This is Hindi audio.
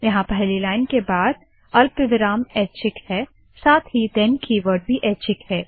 यहाँ पहली लाइन के बाद अल्पविराम एच्छिक है साथ ही थेन कीवर्ड भी एच्छिक है